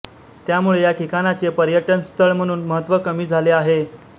त्या मुळे या ठिकाणाचे पर्यटनस्थळ म्हणून महत्त्व कमी झाले आहे